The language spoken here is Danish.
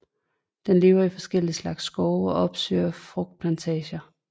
Den lever i forskellige slags skove og opsøger frugtplantager